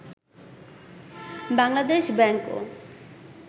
Bangladesh ব্যাংকও